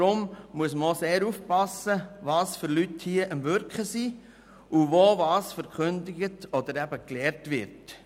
Deshalb muss man auch sehr aufpassen, welche Leute hier am Wirken sind, und wo was verkündet oder gelehrt wird.